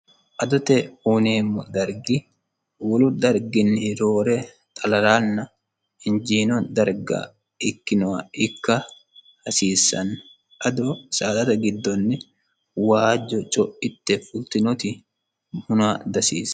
adote uuneemmo dargi wolu darginni roore xalalaanna hinjiino darga ikkinowa ikka hasiissanno ado saadata giddonni waajjo co'itte fultinoti huna dasiissanno.